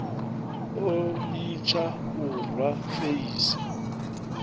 o litsha u rwa feisi